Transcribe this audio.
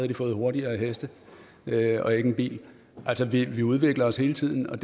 de fået hurtigere heste og ikke en bil altså vi vi udvikler os hele tiden og